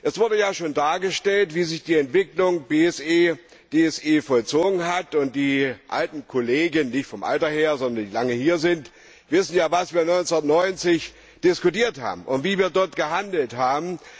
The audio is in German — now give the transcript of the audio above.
Es wurde ja schon dargestellt, wie sich die Entwicklung bei BSE TSE vollzogen hat, und die alten Kollegen nicht vom Alter her, sondern die, die lange hier sind wissen ja, was wir 1990 diskutiert haben und wie wir damals gehandelt haben.